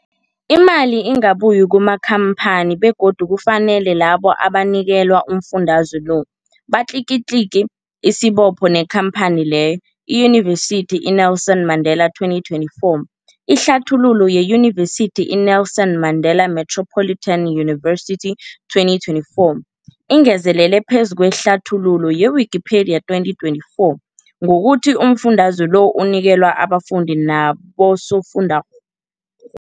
Imali ingabuyi kumakhamphani begodu kufanele labo abanikelwa umfundaze lo batlikitliki isibopho neenkhamphani leyo, Yunivesity i-Nelson Mandela 2024. Ihlathululo yeYunivesithi i-Nelson Mandela Metropolitan University, 2024 ingezelele phezu kwehlathululo ye-Wikipedia, 2024, ngokuthi umfundaze lo unikelwa abafundi nabosofundwakgho.